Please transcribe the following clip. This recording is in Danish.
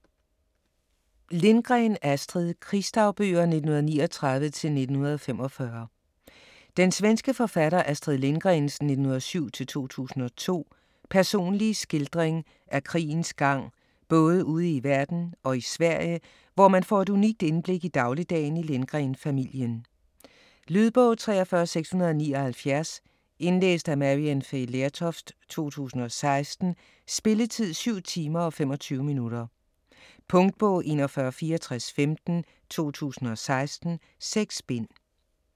Lindgren, Astrid: Krigsdagbøger 1939-1945 Den svenske forfatter Astrid Lindgrens (1907-2002) personlige skildring af krigens gang både ude i verden og i Sverige, hvor man får et unikt indblik i dagligdagen i Lindgren-familien. Lydbog 43679 Indlæst af Maryann Fay Lertoft, 2016. Spilletid: 7 timer, 25 minutter. Punktbog 416415 2016. 6 bind.